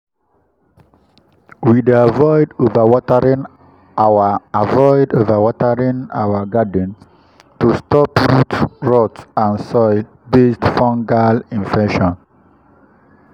we dey avoid overwatering our avoid overwatering our garden to stop root rot and soil-based fungal infections.